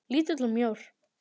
Lítill og mjór.